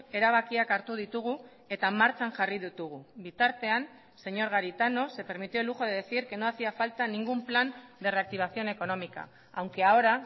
erabakiak hartu ditugu eta martxan jarri ditugu bitartean señor garitano se permitió el lujo de decir que no hacía falta ningún plan de reactivación económica aunque ahora